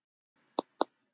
En menn